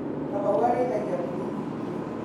Kamau arĩithagia mburi nyingĩ.